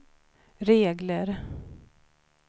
regler